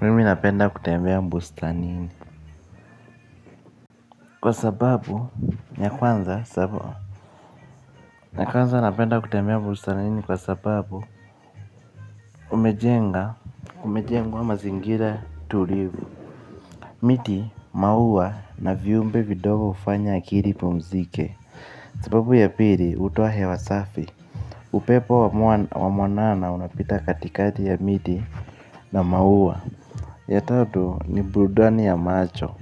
Mimi ninapenda kutembea bustanini. Kwa sababu, ya kwanza, sababu ya kwanza napenda kutembea bustanini kwa sababu umejenga, kumejengwa mazingira tulivu. Miti, mauwa na viyumbe vidogo hufanya akili ipumzike. Sababu ya pili hutoa hewa safi. Upepo wa mwanana unapita katikati ya miti na mauwa. Ya tatu, ni brudani ya macho.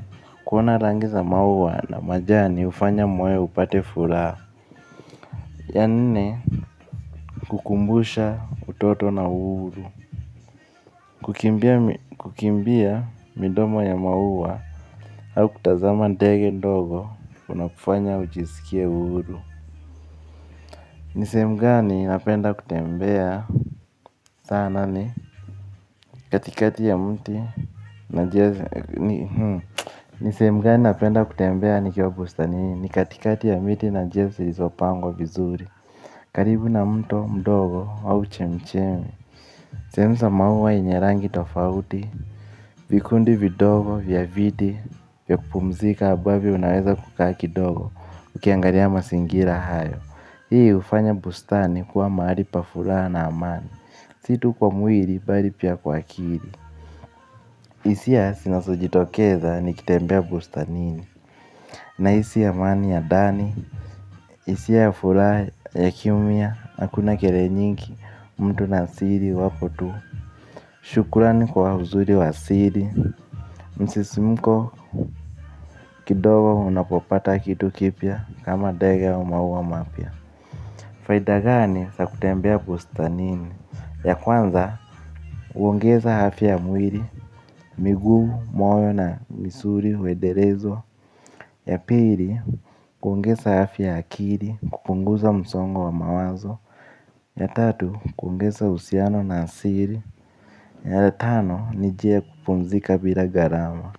Kuona rangi za maua na majani hufanya moyo upate furaha. Ya nne hukumbusha utoto na uhuru. Kukimbia midomo ya maua. Au kutazama ndege ndogo. Una kufanya ujisikie uhuru. Ni sehemu gani napenda kutembea sana ni katikati ya mti na na njia za. Ni sehemu gani napenda kutembea nikiwa bustanini? Ni katikati ya miti na njia zilizopangwa vizuri. Karibu na mto mdogo au chemichemi sehemu za maua yenye rangi tofauti. Vikundi vidogo vya viti vya kupumzika ambavyo unaweza kukaa kidogo ukiangalia mazingira hayo. Hii hufanya bustani kuwa mahali pa furaha na amani, si tu kwa mwili bali pia kwa akili. Hisia zinazojitokeza nikitembea bustanini nahisi amani ya ndani. Hisia ya furaha ya kimya hakuna kelele njingi mtu na siri wapo tu. Shukurani kwa uzuri wa asili. Msisimko kidogo unapopata kitu kipya kama ndege au maua mapya. Faida gani za kutembea bustanini, ya kwanza. Huongeza afya ya mwili, miguu, moyo na misuli huendelezwa. Ya pili, huongeza afya ya akili kupunguza msongo wa mawazo. Ya tatu, huongeza uhusiano na asili na ya tano ni njia ya kupumzika bila gharama.